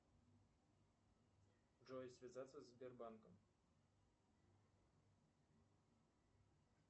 джой связаться с сбербанком